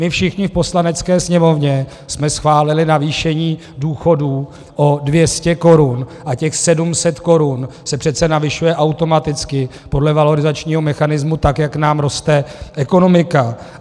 My všichni v Poslanecké sněmovně jsme schválili navýšení důchodů o 200 korun a těch 700 korun se přece navyšuje automaticky podle valorizačního mechanismu, tak jak nám roste ekonomika.